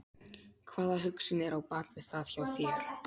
hvaða hugsun er á bak við það hjá þér?